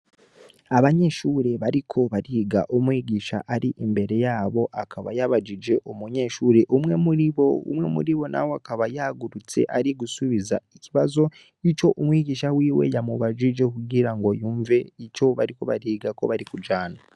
Abanyeshure bariko bariga umwigisha ar'imbere yabo akaba yabajije umunyeshure umwe muribo akaba yahagurutse arigusubiza ikibazo ic'umwigisha wiwe yamubajije kugira yumve ico bariko bariga ko barikujana.